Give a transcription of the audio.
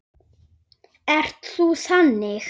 Hvað þá meira.